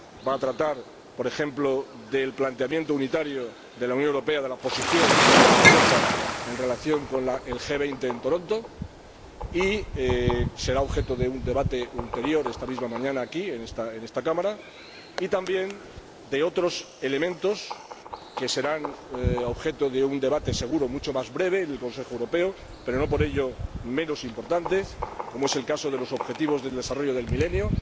Va a tratar, por ejemplo, el planteamiento unitario de la Unión Europea, la posición de Europa en relación con el G20 en Toronto y será objeto de un debate ulterior esta misma mañana aquí, en esta Cámara, y también otros elementos que serán objeto de un debate seguro mucho más breve en el Consejo Europeo, pero no por ello menos importantes, como es el caso de los Objetivos de Desarrollo del Milenio.